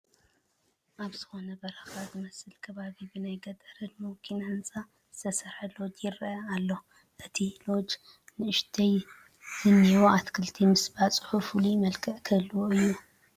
ኣብ ዝኾነ በረኻ ዝመስል ከባቢ ብናይ ገጠር ህድሞ ኪነ ህንፃ ዝተሰርሐ ሎጅ ይርአ ኣሎ፡፡ እቲ ሎጅ ንኡሽተያ ዝኔዉ ኣትክልቱ ምስባፅሑ ፍሉይ መልክዕ ክህልዎ እዩ፡፡